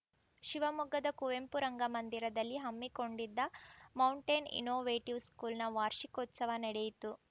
ಶಿವಮೊಗ್ಗದ ಕುವೆಂಪು ರಂಗಮಂದಿರದಲ್ಲಿ ಹಮ್ಮಿಕೊಂಡಿದ್ದ ಮೌಂಟೇನ್‌ ಇನ್ನೋವೇಟಿವ್‌ ಸ್ಕೂಲ್‌ನ ವಾರ್ಷಿಕೋತ್ಸವ ನಡೆಯಿತು